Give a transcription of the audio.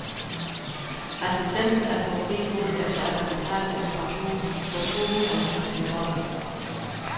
Assistenten er på fri fod efter at have betalt en kaution på to hundrede tusinde dollar.